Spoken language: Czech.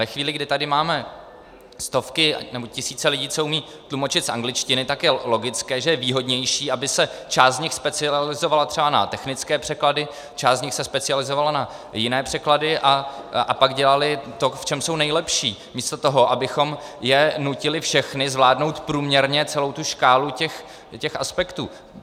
Ve chvíli, kdy tady máme stovky nebo tisíce lidí, co umí tlumočit z angličtiny, tak je logické, že je výhodnější, aby se část z nich specializovala třeba na technické překlady, část z nich se specializovala na jiné překlady a pak dělali to, v čem jsou nejlepší, místo toho, abychom je nutili všechny zvládnout průměrně celou tu škálu těch aspektů.